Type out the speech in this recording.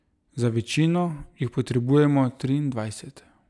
Za večino jih potrebujemo triindvajset.